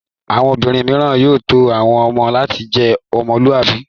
Àwọn obìnrin mìíràn yóò tọ́ àwọn ọmọ láti jẹ́ ọmọlúàbí.